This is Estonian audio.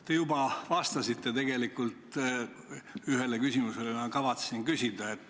Te juba vastasite sellele küsimusele, mida ma kavatsesin küsida.